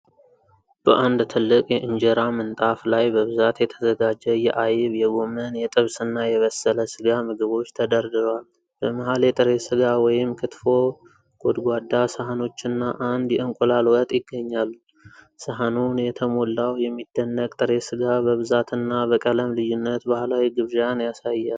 በአንድ ትልቅ የኢንጄራ ምንጣፍ ላይ በብዛት የተዘጋጁ የአይብ፣ የጎመን፣ የጥብስና የበሰለ ስጋ ምግቦች ተደርድረዋል። በመሃል የጥሬ ስጋ (ክትፎ) ጎድጓዳ ሳህኖችና አንድ የእንቁላል ወጥ ይገኛሉ። ሳህኑን የተሞላው የሚደነቅ ጥሬ ስጋ በብዛትና በቀለም ልዩነት ባህላዊ ግብዣን ነው።